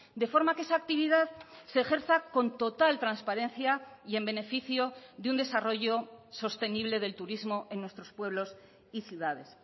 de forma que esa actividad se ejerza con total transparencia y en beneficio de un desarrollo sostenible del turismo en nuestros pueblos y ciudades